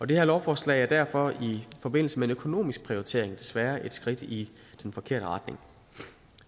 det her lovforslag er derfor i forbindelse med en økonomisk prioritering desværre et skridt i den forkerte retning